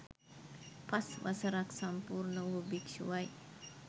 පස් වසරක් සම්පූර්ණ වූ භික්ෂුවයි.